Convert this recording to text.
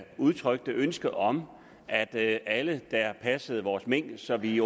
udtrykte ønske om at alle der passer vores mink så vi